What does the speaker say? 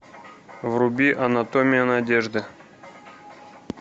вруби анатомия надежды